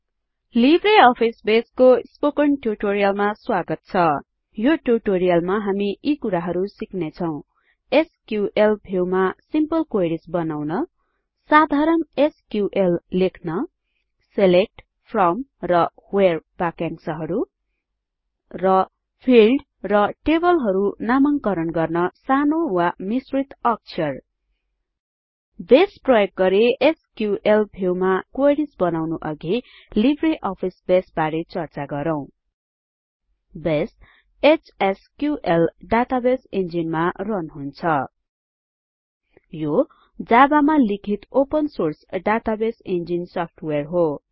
Libre office बेसको spoken ट्युटोरियलमा स्वागत छ यो टूयूटोरियलमा हामी यी कुराहरु सिक्नेछौं एसक्यूएल व्यू मा सिम्पले क्वेरिज बनाउन साधारण एसक्यूएल लेख्न सिलेक्ट फ्रोम र व्हेरे बाक्यांशहरु र फिल्ड र टेबलहरु नामांकरण गर्न सानो वा मिश्रित अक्षर बेस एचएसक्यूएल डाटाबेस इन्जीनमा रन हुन्छ यो जाबामा लिखित open source database engine software हो